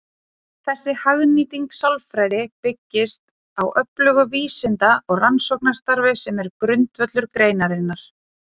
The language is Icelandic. Þessi hagnýting sálfræði byggist á öflugu vísinda- og rannsóknarstarfi sem er grundvöllur greinarinnar.